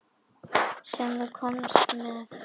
Sem þú komst með.